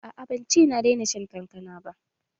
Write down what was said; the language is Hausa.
A'a ban ce na daina shan kankana ba